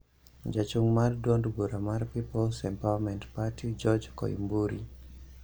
Jachung' mar duond bura mar People's Empowerment Party, George Koimburi